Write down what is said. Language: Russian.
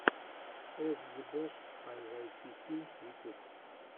эс джи бэш а вай ти пи ютюб